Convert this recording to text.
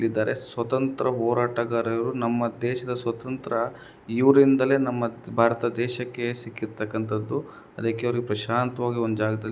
ಇದ್ದಾರೆ. ಸ್ವಾತಂತ್ರ್ಯ ಹೋರಾಟಗಾರರು ನಮ್ಮ ದೇಶದ ಸ್ವಾತಂತ್ರ್ಯ ಇವರಿನಿಂದಲೇ ನಮ್ಮ ಭಾರತದ ದೇಶಕ್ಕೆ ಸಿಕ್ಕಿರ್ತಕಂತದ್ದು. ಅದಕ್ಕೆ ಅವರು ಪ್ರಶಾಂತವಾಗಿ ಒಂದು ಜಾಗದಲ್ಲಿ--